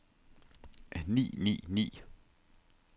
ni ni ni